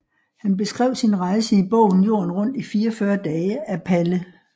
Han beskrev sin rejse i bogen Jorden rundt i 44 Dage af Palle